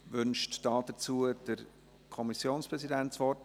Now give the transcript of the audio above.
Wünscht der Kommissionspräsident hierzu das Wort?